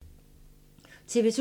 TV 2